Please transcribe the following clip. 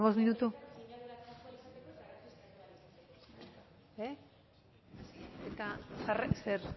hamabost minutu eta zer